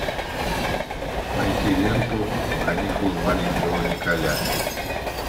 найти ленту каникулы маленького николя